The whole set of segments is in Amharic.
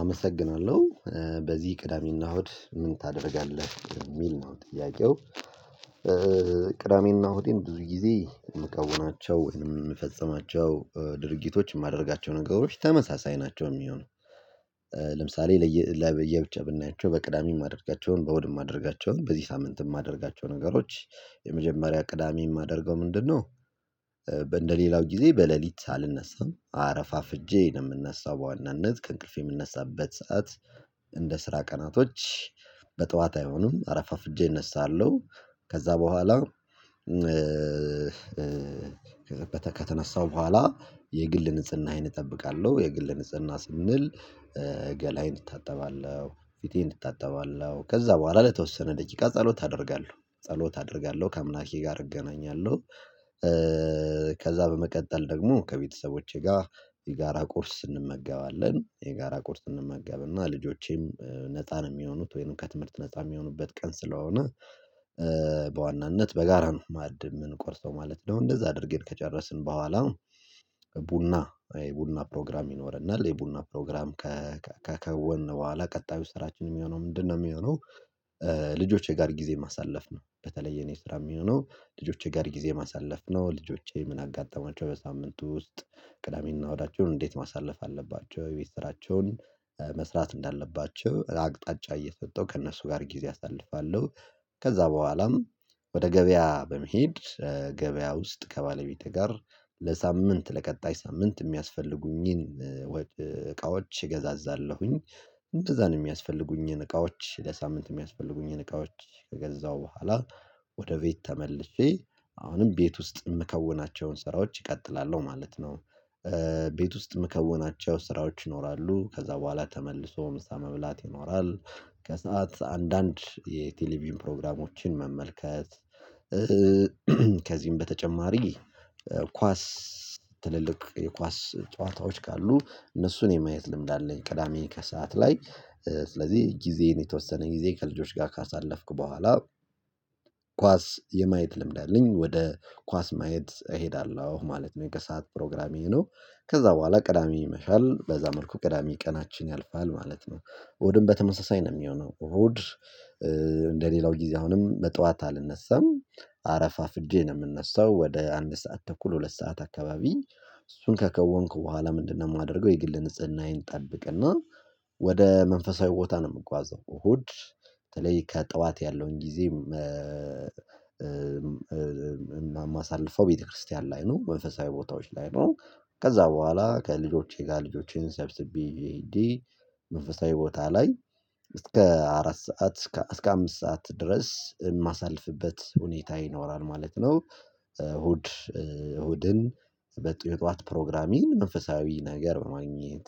አመሰግናለሁ በዚህ ቅዳሜና እሁድ ምን ታደርጋለህ የሚል ነው ጥያቄው? ቅዳሜና እሁዴን ብዙ ጊዜ የምከውናቸው ወይንም የምፈጽማቸው ድርጊቶች የማደርጋቸው ነገሮች ተመሳሳይ ናቸው የሚሆነው። ለምሳሌ ለየብቻ ብናያቸው በቅዳሜ የማደርጋቸውን በወድ የማደርጋቸውን በዚህ ሳምንት የማደርጋቸው ነገሮች የመጀመሪያ ቅዳሜ የማደርገው ምንድነው? በእንደሌላው ጊዜ በሌሊት አልነሳም አረፋፍጄ ነው የምነሳው በዋናነት ከእንቅልፌ የምነሳበት ሰዓት እንደ ስራ ቀናቶች በጠዋት አይሆኑም አረፋፍጄ እነሳለሁ። ከዛ በኋላ ከተነሳው በኋላ የግል ንጽህናዬን እጠብቃለሁ። የግል ንጽህና ስንል ገላዬን እታጠባለሁ ፊቴን እታጠባለሁ ከዛ በኋላ ለተወሰነ ደቂቃ ጸሎት አደርጋለሁ ጸሎት አደርጋለሁ ከአምላኬ ጋር እገናኛለሁ። ከዛ በመቀጠል ደግሞ ከቤተሰቦቼ ጋር የጋራ ቁርስ እንመገባለን የጋራ ቁርስ እንመገባለን ልጆቼም ነፃ ነው የሚሆኑት ወይንም ከትምህርት ነፃ የሚሆኑበት ቀን ስለሆነ። በዋናነት በጋራ ነው ማዕድ የምንቆርሰው ማለት ነው። እንደዛ አድርጌን ከጨረስን በኋላ ቡና ቡና ፕሮግራም ይኖርናል የቡና ፕሮግራም። ከ ከወን በኋላ ቀጣዩ ስራችን የሚሆነው ምንድነው የሚሆነው? ልጆቼ ጋር ጊዜ ማሳለፍ ነው። በተለይ የኔ ስራ የሚሆነው ልጆቼ ጋር ጊዜ ማሳለፍ ነው። ልጆቼ ምን አጋጠማቸው በሳምንቱ ውስጥ ቅዳሜን እናወዳቸውን እንዴት ማሳለፍ አለባቸው የቤትሰራቸውን መስራት እንዳለባቸው አቅጣጫ እየሰጠው ከእነሱ ጋር ጊዜ አሳልፋለሁ። ከዛ በኋላም ወደ ገበያ በመሄድ ገበያ ውስጥ ከባለቤቴ ጋር ለሳምንት ለቀጣይ ሳምንት የሚያስፈልጉኝን እቃዎች እገዛዛለሁኝ። እንደዛ ነው የሚያስፈልጉኝን እቃዎች ለሳምንት የሚያስፈልጉኝን እቃዎች ከገዛሁ በኋላ ወደ ቤት ተመልሼ አሁንም ቤት ውስጥ የምከውናቸውን ስራዎች እቀጥላለሁ ማለት ነው። ቤት ውስጥ የምከውናቸው ስራዎች ይኖራሉ ከዛ በኋላ ተመልሶ ምሳ መብላት ይኖራል። ከሰአት አንዳንድ የቴሌቪዥን ፕሮግራሞችን መመልከት ከዚህም በተጨማሪ ኳስ ትልልቅ የኳስ ጨዋታዎች ካሉ እነሱን የማየት ልምድ አለኝ። ቅዳሜ ከሰአት ላይ ስለዚህ ጊዜን የተወሰነ ጊዜ ከልጆች ጋር ካሳለፍክ በኋላ ኳስ የማየት ልምድ አለኝ። ወደ ኳስ ማየት እሄዳለሁ ማለት ነው የከሰአት ፕሮግራም ይሄ ነው። ከዛ በኋላ ቅዳሜ ይመሻል በዛ መልኩ ቅዳሜ ቀናችን ያልፋል ማለት ነው። እሁድም በተመሳሳይ ነው የሚሆነው። እሁድ እንደሌላው ጊዜ አሁንም በጠዋት አልነሳም አረፋ ፍጄ ነው የምነሳው ወደ አንድ ሰዓት ተኩል ሁለት ሰዓት አካባቢ። እሱን ከከወንኩ በኋላ ምንድነው የማደርገው? የግል ንጽህናዬን ጠብቅና ወደ መንፈሳዊ ቦታ ነው የምጓዘው ሆድ በተለይ ከጠዋት ያለውን ጊዜ ማሳለፈው ቤተክርስቲያን ላይ ነው መንፈሳዊ ቦታዎች ላይ ነው። ከዛ በኋላ ከልጆቼ ጋር ልጆቼን ሰብስቤ እንዲህ መንፈሳዊ ቦታ ላይ እስከ አራት ሰዓት እስከ አምስት ሰዓት ድረስ የማሳልፍበት ሁኔታ ይኖራል ማለት ነው። እሁድ እሁድን በጡ የጧት ፕሮግራሜን መንፈሳዊ ነገር በማግኘት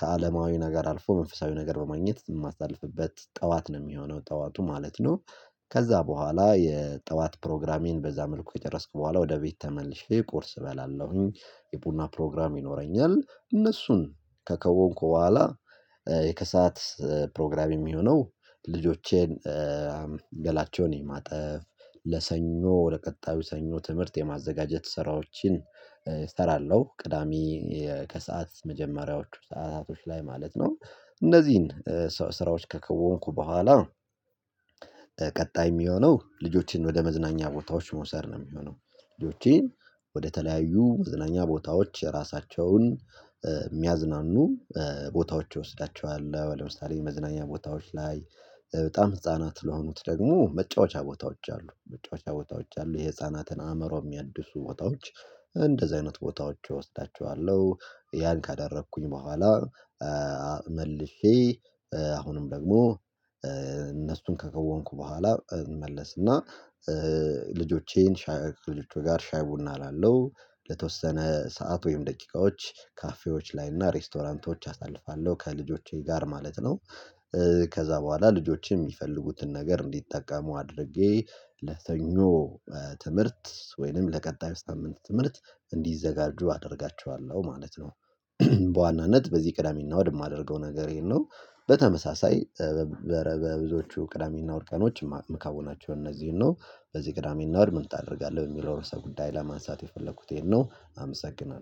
ከአለማዊና ጋር አልፎ መንፈሳዊ ነገር በማግኘት የማሳልፍበት ጠዋት ነው የሚሆነው ጠዋቱ ማለት ነው። ከዛ በኋላ የጠዋት ፕሮግራሜን በዛ መልኩ ከጨረስኩ በኋላ ወደ ቤት ተመልሼ ቁርስ እበላለሁኝ። የቡና ፕሮግራም ይኖረኛል እነሱን ከከወንኩ በኋላ የከሰአት ፕሮግራም የሚሆነው ልጆቼን ገላቸውን የማጠፍ ለሰኞ ለቀጣዩ ሰኞ ትምህርት የማዘጋጀት ስራዎችን እሰራለሁ ቅዳሜ ከሰአት መጀመሪያዎቹ ሰዓታቶች ላይ ማለት ነው። እነዚህን ስራዎች ከከወንኩ ቡኋላ ቀጣይ የሚሆነው ልጆቼን ወደ መዝናኛ ቦታዎች መውሰድ ነው የሚሆነው። ልጆቼን ወደተለያዩ መዝናኛ ቦታዎች ራሳቸውን የሚያዝናኑ ቦታዎች እወስዳቸዋለው ለምሳሌ መዝናኛ ቦታዎች ላይ በጣም ህፃናት ለሆኑት ደግሞ መጫወቻ ቦታዎች አሉ መጫወቻ ቦታዎች አሉ የህፃናትን አእምሮ የሚያድሱ ቦታዎች እንደዚህ አይነት ቦታዎች እወስዳቸዋለሁ። ያን ካደረኩኝ በኋላ መልሼ አሁንም ደግሞ እነሱን ከከወንኩ በኋላ እንመለስና ልጆቼን ሻይ ልጆቼ ጋር ሻይ ቡና አላለው ለተወሰነ ሰዓት ወይም ደቂቃዎች ካፌዎች ላይ እና ሬስቶራንቶች አሳልፋለሁ ከልጆቼ ጋር ማለት ነው። ከዛ በኋላ ልጆቼ የሚፈልጉትን ነገር እንዲጠቀሙ አድርጌ ለሰኞ ትምህርት ወይንም ለቀጣዩ ሳምንት ትምህርት እንዲዘጋጁ አደርጋቸዋለሁ ማለት ነው። በዋናነት በዚህ ቅዳሜና ወደማደርገው ነገሬን ነው። በተመሳሳይ በብዙዎቹ ቅዳሜና ወር ቀኖች መካወናቸው እነዚህን ነው። በዚህ ቅዳሜና ወር ምን ታደርጋለህ የሚለው ርዕሰ ጉዳይ ለማንሳት የፈለኩት ይሄን ነው። አመሰግናለሁ